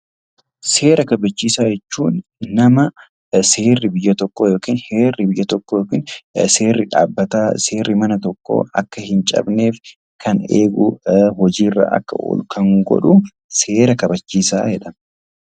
Seera kabachiisaa jechuun nama seerri biyya tokkoo yookaan heerri biyya tokkoo seerri dhaabbataa yookaan seerri mana tokkoo akka hin cabneef eegu, kan hojii irra akka oolu kan godhuu, seera kabachiisaa jedhama.